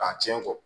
K'a tiɲɛ fɔ